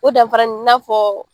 O danfara in na fɔ